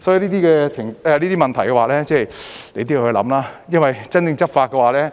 所以，這些問題也是要思考的，因為真正執法時，